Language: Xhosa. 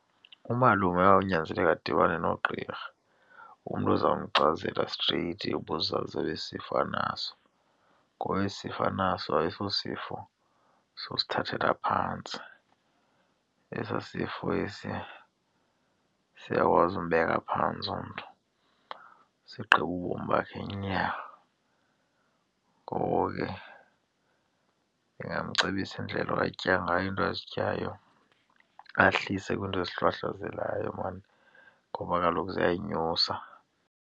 Umalume kwawunyanzeleka adibane nogqirha, umntu oza mchazela streyithi ubuzaza besi sifo anaso ngoba esi sifo anaso ayisosifo sosithethela phantsi. Esaa sifo esiya siyakwazi umbeka phantsi umntu, sigqibe ubomi bakhe nya. Ngoko ke ndingamcebisa indlela atya ngayo, iinto azityayo ahlise kwiinto ezihlwahlwazelayo maan ngoba kaloku ziyayinyusa.